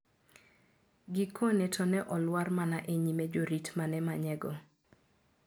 Gikone to ne olwar mana e nyime jorit ma ne manye go.